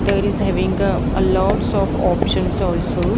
There is having a a lots of options also.